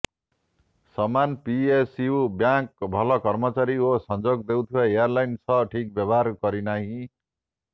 ସମାନ PSU bank ଭଲ କର୍ମଚାରୀ ଓ ସଂଯୋଗ ଦେଉଥିବା ଏୟାର୍ଲାଇନ୍ ସହ ଠିକ୍ ବ୍ୟବହାର କରିନାହିଁ